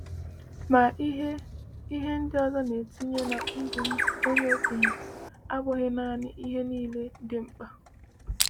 “Ma ihe ihe ndị ọzọ na-etinye n’ ndụ onye okenye abụghị naanị ihe niile dị mkpa.”